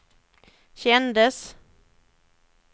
kändes